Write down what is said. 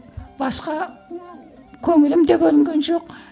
басқа көңілім де бөлінген жоқ